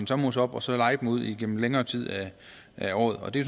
sommerhus op og så leje det ud igennem længere tid af året og det